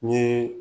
Ni